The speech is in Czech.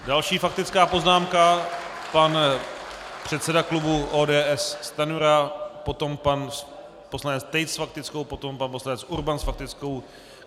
Další faktická poznámka -pan předseda klubu ODS Stanjura, potom pan poslanec Tejc s faktickou, potom pan poslanec Urban s faktickou.